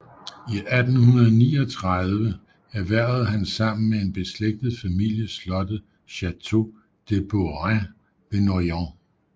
I 1839 erhvervede han sammen med en beslægtet familie slottet Château de Beaurains ved Noyon